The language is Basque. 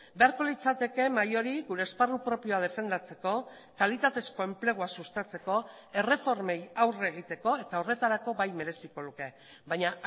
beharko litzateke mahai hori gure esparru propioa defendatzeko kalitatezko enplegua sustatzeko erreformei aurre egiteko eta horretarako bai mereziko luke baina